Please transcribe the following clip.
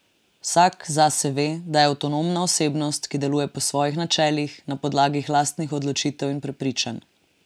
Vsak zase ve, da je avtonomna osebnost, ki deluje po svojih načelih, na podlagi lastnih odločitev in prepričanj.